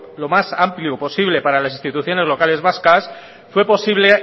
lo más amplio posible para las instituciones locales vascas fue posible